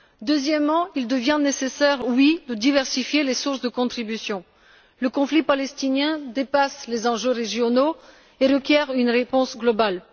Deuxièmement, il devient nécessaire de diversifier les sources de contributions. Le conflit palestinien dépasse les enjeux régionaux et requiert une réponse globale.